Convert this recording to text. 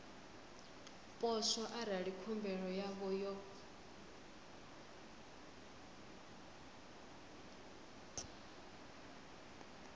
poswo arali khumbelo yavho yo